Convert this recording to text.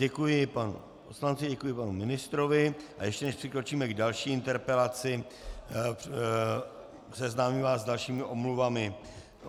Děkuji panu poslanci, děkuji panu ministrovi, a ještě než přikročíme k další interpelaci, seznámím vás s dalšími omluvami.